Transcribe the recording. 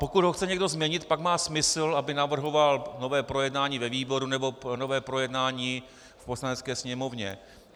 Pokud ho chce někdo změnit, pak má smysl, aby navrhoval nové projednání ve výboru nebo nové projednání v Poslanecké sněmovně.